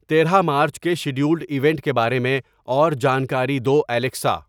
تیرہ مارچ کے scheduled event کے بارے میں اور جانکاری دو الیکسا